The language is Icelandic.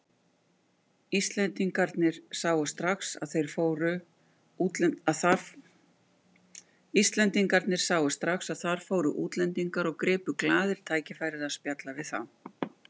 Íslendingarnir sáu strax að þar fóru útlendingar og gripu glaðir tækifærið að spjalla við þá.